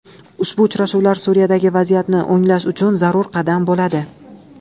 Ushbu uchrashuvlar Suriyadagi vaziyatni o‘nglash uchun zarur qadam bo‘ladi.